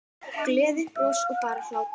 Gleði, bros og bara hlátur.